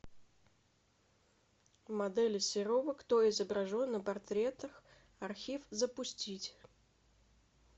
модели серова кто изображен на портретах архив запустить